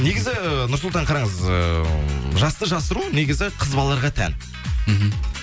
негізі нұрсұлтан қараңыз ыыы жасты жасыру негізі қыз балаларға тән мхм